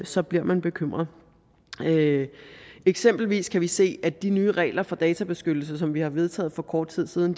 så bliver man bekymret eksempelvis kan vi se at de nye regler for databeskyttelse som vi har vedtaget for kort tid siden